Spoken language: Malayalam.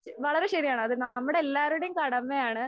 വളരെ ശരിയാണ് അത് നമ്മടെ എല്ലാവരുടെ കടമയാണ്.